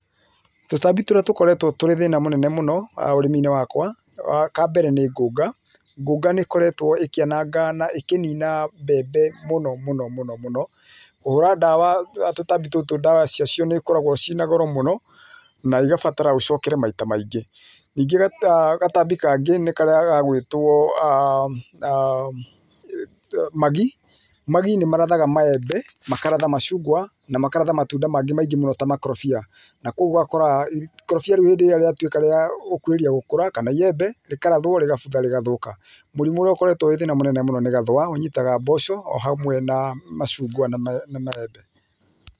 Tũtambi tũrĩa tũkoretwo tũrĩ thĩna mũnene mũno haha ũrĩmiinĩ wakwa, kambere nĩ ngũnga, ngũnga nĩ ĩkoretwo ĩkĩananga na ĩkĩnina mbembe mũno mũno mũno, mũno, kũhũra ndawa tũtambi tũtũ ndawa ciacio nĩ cikoragwo ciĩna goro mũno na igabatara ũcokere maita maingĩ. Ningĩ gatambi kangĩ nĩ karĩa gagwĩtwo magi, magi nĩ marathaga maembe, makaratha macungwa na makaratha matunda mangĩ maingĩ mũno ta makorobia na kwoguo ũgakora ikorobia rĩu hĩndĩ ĩrĩa rĩatuĩka rĩa gũkuhĩrĩria gũkũra kana iembe rĩkarathwo rĩgabutha rĩgathũka. Mũrimũ ũrĩa ũkoretwo wĩ thĩna mũnene mũno nĩ gathũa, ũnyitaga mboco o hamwe na macungwa na maembe.